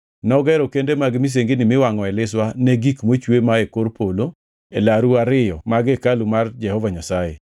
Nogero kende mag misengini miwangʼoe liswa ne gik mochwe mae kor polo e laru ariyo mag hekalu mar Jehova Nyasaye.